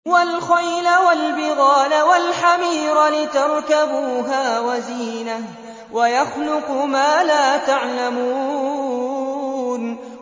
وَالْخَيْلَ وَالْبِغَالَ وَالْحَمِيرَ لِتَرْكَبُوهَا وَزِينَةً ۚ وَيَخْلُقُ مَا لَا تَعْلَمُونَ